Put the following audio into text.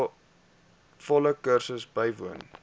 volle kursus bywoon